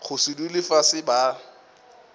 go se dule fase ba